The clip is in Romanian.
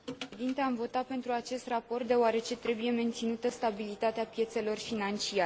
Am votat pentru acest raport, deoarece trebuie menținută stabilitatea piețelor financiare.